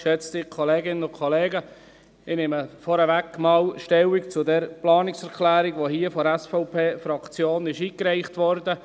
Ich nehme vorab einmal Stellung zu dieser Planungserklärung, die hier von der SVP-Fraktion eingereicht wurde.